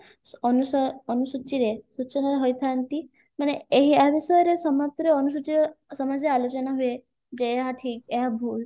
ଅନୁସ ଅନୁସୂଚିରେ ସୂଚନୀୟ ହୋଇଥାନ୍ତି ମାନେ ଏଇଏହା ବିଷୟରେ ସମାପ୍ତରେ ଅନୁସୂଚିରେ ସମସ୍ୟା ଆଲୋଚନା ହୁଏ ଯେ ଏହା ଠିକ ଏହା ଭୁଲ